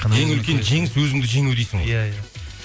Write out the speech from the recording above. ең үлкен жеңіс өзіңді жеңу дейсің ғой иә иә